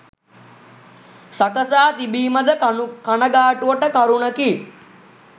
සකසා තිබීම ද කනගාටුවට කරුණකි.